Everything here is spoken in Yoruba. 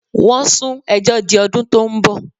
Wọ́n sún ẹjọ́ di ọdún tó ń bọ̀.